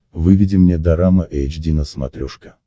выведи мне дорама эйч ди на смотрешке